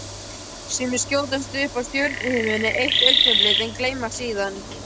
Sumir skjótast upp á stjörnuhimininn eitt augnablik en gleymast síðan.